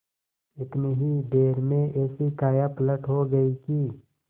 इतनी ही देर में ऐसी कायापलट हो गयी कि